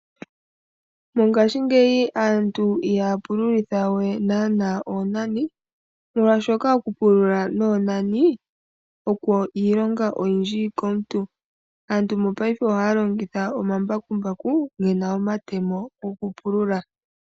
Mongashingeyi aantu ihaya pululitha we naana oonani molwashoka oku pulula noonani oko iilonga oyindji komuntu. Aantu mopaife ohaya longitha omambakumbaku gena omatemo goku pulula.